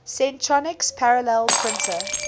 centronics parallel printer